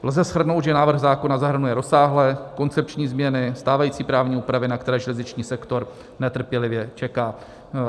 Lze shrnout, že návrh zákona zahrnuje rozsáhlé koncepční změny stávající právní úpravy, na které železniční sektor netrpělivě čeká.